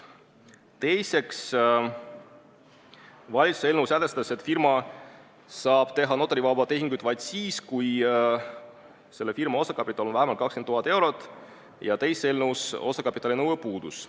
Teiseks, valitsuse eelnõu sätestas, et firma saab teha notarivabu tehinguid vaid siis, kui firma osakapital on vähemalt 20 000 eurot, aga teises eelnõus osakapitalinõue puudus.